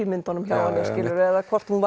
myndunum hjá henni skilurðu eða hvort hún